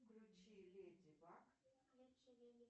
включи леди баг